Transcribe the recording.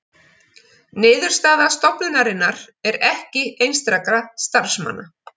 Niðurstaða stofnunarinnar ekki einstakra starfsmanna